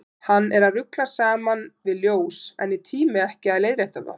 Hann er að rugla saman við ljós, en ég tími ekki að leiðrétta það.